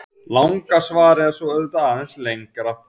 Langa svarið er svo auðvitað aðeins lengra.